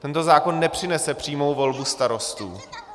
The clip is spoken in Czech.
Tento zákon nepřinese přímou volbu starostů.